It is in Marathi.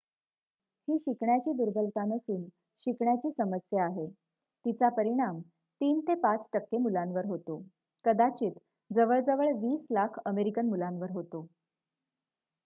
"ही शिकण्याची दुर्बलता नसून शिकण्याची समस्या आहे; तिचा परिणाम "३ ते ५ टक्के मुलांवर होतो कदाचित जवळ जवळ २० लाख अमेरिकन मुलांवर होतो"".